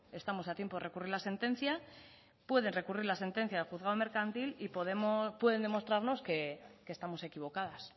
estamos a tiempo de recurrir la sentencia puede recurrir la sentencia del juzgado de lo mercantil y pueden demostrarnos que estamos equivocadas